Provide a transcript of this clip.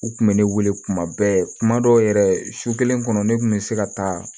U kun bɛ ne wele kuma bɛɛ kuma dɔw yɛrɛ su kelen kɔnɔ ne tun bɛ se ka taa